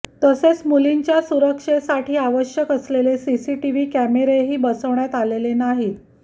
तसेच मुलींच्या सुरक्षेसाठी आवश्यक असलेले सीसीटीव्ही कॅमेरेही बसवण्यात आलेले नाहीत